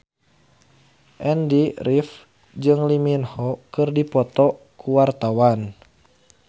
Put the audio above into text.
Andy rif jeung Lee Min Ho keur dipoto ku wartawan